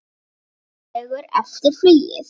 Tveimur dögum eftir flugið.